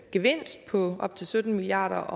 gevinst på op til sytten milliard